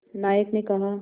नायक ने कहा